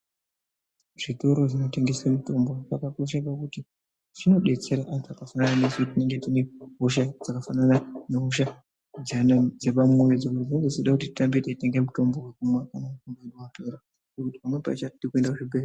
Zvitoro zvinotengese mitombo zvakakosha pakuti zvinodetsera antu isu tinenge tine hosha dzakafanana nehosha dzepamwoyo dzimwe dzinge dzeida tirambe teitenga mitombo umwe uno..........kuenda kuzvibhedhlera.